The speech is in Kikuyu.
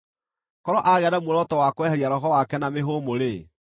Korwo aagĩa na muoroto wa kweheria roho wake na mĩhũmũ-rĩ,